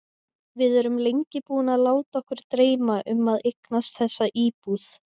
Við erum lengi búin að láta okkur dreyma um að eignast þessa íbúð.